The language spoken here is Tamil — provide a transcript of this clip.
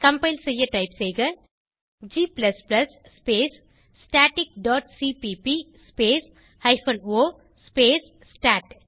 கம்பைல் செய்ய டைப் செய்க g space static dot C P P space hyphen O space start